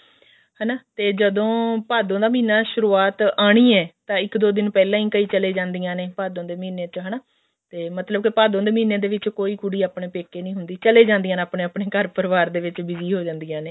ਹਨਾ ਤੇ ਜਦੋਂ ਭਾਦੋਂ ਦਾ ਮਹੀਨਾ ਸ਼ੁਰੁਆਤ ਆਉਣੀ ਹੈ ਤਾਂ ਇੱਕ ਦੋ ਦਿਨ ਪਹਿਲਾਂ ਹੀ ਕਈ ਛਲੀ ਜਾਂਦੀਆਂ ਨੇ ਭਾਦੋਂ ਦੇ ਮਹੀਨੇ ਚ ਹਨਾ ਤੇ ਮਤਲਬ ਕੇ ਭਾਦੋਂ ਦੇ ਮਹੀਨੇ ਵਿੱਚ ਕੋਈ ਕੋਈ ਕੁੜੀ ਆਪਣੇ ਪੇਕੇ ਨੀ ਹੁੰਦੀ ਚਲੇ ਜਾਂਦੀਆਂ ਨੇ ਆਪਣੇ ਘਰ ਪਰਿਵਾਰ ਦੇ ਵਿੱਚ busy ਹੋ ਜਾਂਦੀਆਂ ਨੇ